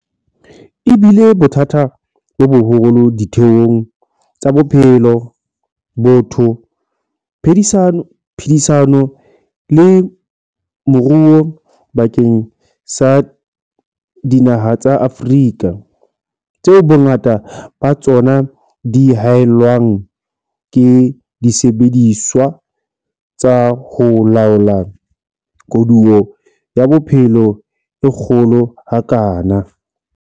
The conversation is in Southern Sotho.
E bile bothata bo boholo ditheong tsa bophelo, botho, phedisano le moruo bakeng sa dinaha tsa Afrika, tseo bongata ba tsona di hae llwang ke disebediswa tsa ho laola koduwa ya bophelo e kgolo ha kana.